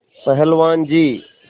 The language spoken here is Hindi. पहलवान जी